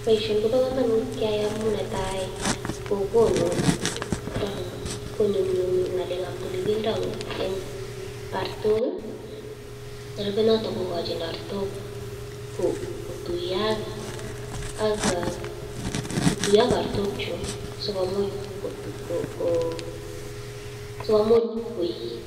Boisioni kobo komonut keyai amun netai konyumnyumi ng'alekab tililindo en artok. Nerupe noton kogochi artok kotuiyo ak artok chun sikomuch